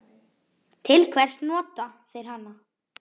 Til hvers nota þeir hana?